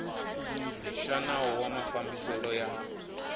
xa nawu wa mafambiselo ya